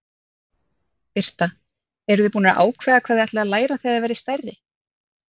Birta: Eruð þið búnar að ákveða hvað þið ætlið að læra þegar þið verðið stærri?